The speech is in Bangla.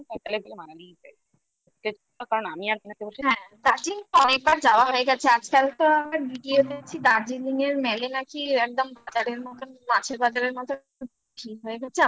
কারণ আমি কয়েকবার যাওয়া হয়ে গেছে আজকাল তো আমার video তে Darjeeling র mall নাকি একদম বাজারের মতন মাছের বাজারের মতন ভিড় হয়ে গেছে